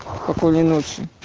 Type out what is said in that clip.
спокойной ночи